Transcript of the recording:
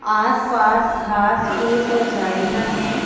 आस पास घास पूस और झाड़ियां है।